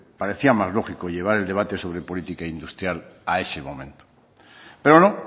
parecía más lógico llevar el debate sobre política industrial a ese momento pero no